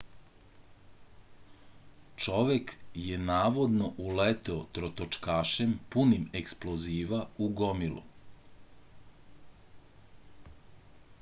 čovek je navodno uleteo trotočkašem punim eksploziva u gomilu